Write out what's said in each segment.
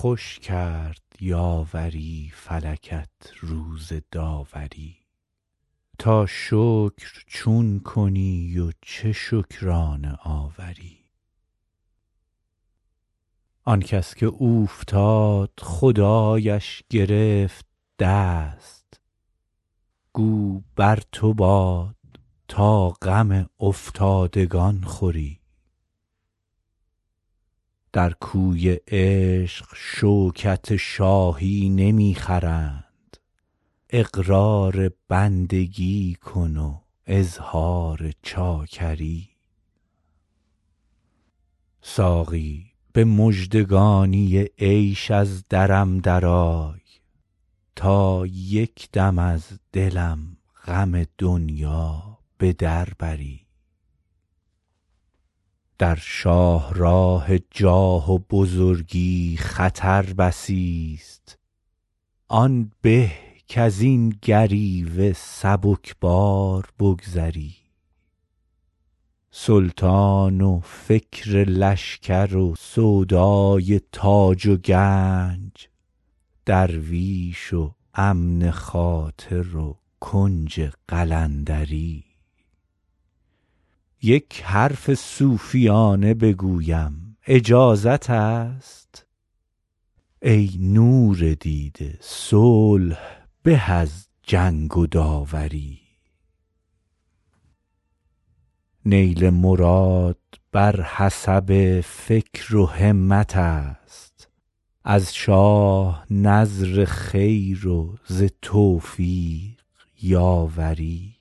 خوش کرد یاوری فلکت روز داوری تا شکر چون کنی و چه شکرانه آوری آن کس که اوفتاد خدایش گرفت دست گو بر تو باد تا غم افتادگان خوری در کوی عشق شوکت شاهی نمی خرند اقرار بندگی کن و اظهار چاکری ساقی به مژدگانی عیش از درم درآی تا یک دم از دلم غم دنیا به در بری در شاه راه جاه و بزرگی خطر بسی ست آن به کز این گریوه سبک بار بگذری سلطان و فکر لشکر و سودای تاج و گنج درویش و امن خاطر و کنج قلندری یک حرف صوفیانه بگویم اجازت است ای نور دیده صلح به از جنگ و داوری نیل مراد بر حسب فکر و همت است از شاه نذر خیر و ز توفیق یاوری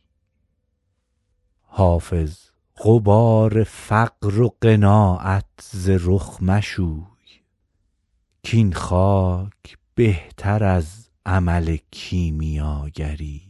حافظ غبار فقر و قناعت ز رخ مشوی کاین خاک بهتر از عمل کیمیاگری